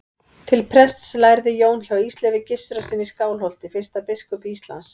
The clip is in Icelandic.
Til prests lærði Jón hjá Ísleifi Gissurarsyni í Skálholti, fyrsta biskupi Íslands.